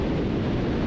Səs yoxa çıxdı.